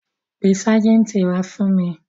Pe ságìǹtì wá fún mi.